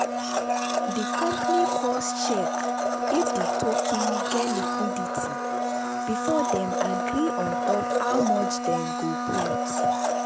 the company first check if the token get liquidity before they agree on top how much them go put.